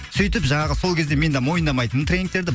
сөйтіп жаңағы сол кезде мен де мойындамайтынмын тренинигтерді